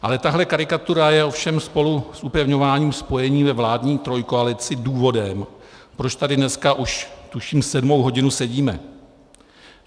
Ale tahle karikatura je ovšem spolu s upevňováním spojení ve vládní trojkoalici důvodem, proč tady dneska už tuším sedmou hodinu sedíme.